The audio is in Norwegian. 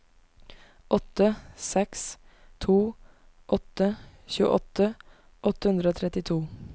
åtte seks to åtte tjueåtte åtte hundre og trettito